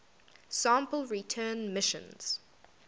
sample return missions